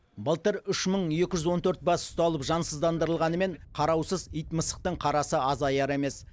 былтыр үш мың екі жүз он төрт бас ұсталып жансыздандырылғанымен қараусыз ит мысықтың қарасы азаяр емес